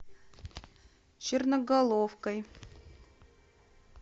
черноголовкой